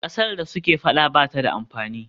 Ƙasar da suke faɗa ba ta da amfani.